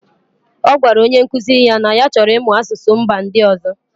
Ọ gwara onye nkuzi ya na ya chọrọ ịmụ asụsụ mba ndị ọzọ.